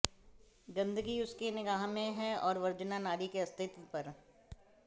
गंदगी उसके निगाह में है और वर्जना नारी के अस्तित्व पर